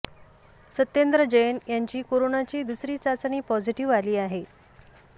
सत्येंद्र जैन यांची कोरोनाची दुसरी चाचणी पॉझिटिव्ह आली आहे